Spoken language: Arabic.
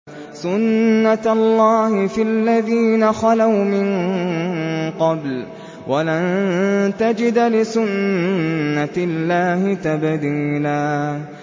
سُنَّةَ اللَّهِ فِي الَّذِينَ خَلَوْا مِن قَبْلُ ۖ وَلَن تَجِدَ لِسُنَّةِ اللَّهِ تَبْدِيلًا